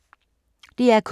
DR K